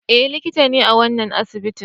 Eh likita ne a wannan asibitin